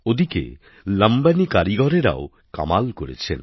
ওদিকে লম্বানি কারিগরেরাও কামাল করেছেন